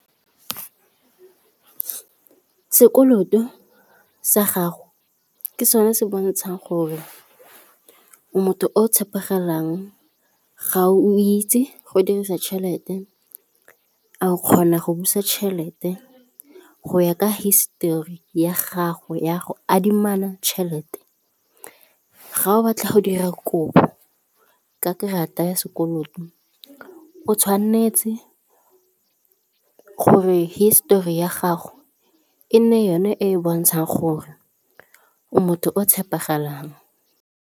Sekoloto sa gago ke sone se bontshang gore motho o tshepegalang, ga o itse go dirisa tšhelete, a o kgona go busa tšhelete go ya ka hisetori ya gago ya go adimana tšhelete. Ga o batla go dira kobo ka karata ya sekoloto o tshwanetse gore hisetori ya gago e nne yone e e bontshang gore motho o tshepagalang.